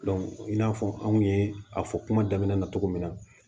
i n'a fɔ anw ye a fɔ kuma daminɛ na cogo min na